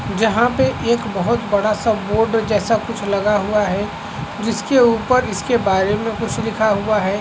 जहाँ पे एक बहुत बड़ा- सा बोर्ड जैसा कुछ लगा हुआ है जिसके ऊपर इसके बारे में कुछ लिखा हुआ हैं।